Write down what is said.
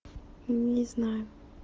не знаю